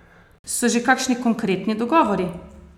So že kakšni konkretni dogovori?